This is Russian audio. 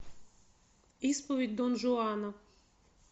исповедь дон жуана